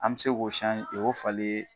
An be se k'o k'o falen